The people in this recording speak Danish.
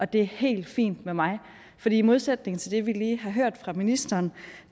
det er helt fint med mig for i modsætning til det vi lige har hørt fra ministeren